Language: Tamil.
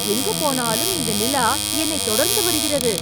எங்கு போனாலும் இந்த நிலா என்னைத் தொடர்ந்து வருகிறது